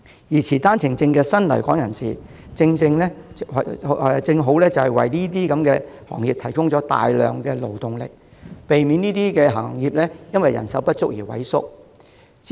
而持單程證的新來港人士，正好為這些行業提供大量勞動力，避免這些行業因人手不足而萎縮。